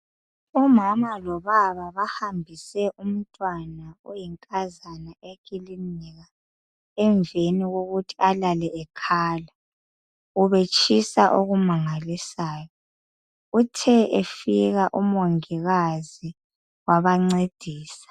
Omama lobaba bahambise umntwana oyinkazana ekilinika emveni kokuthi alale ekhala ubetshisa okumangalisayo uthe efika omongikazi babancedisa.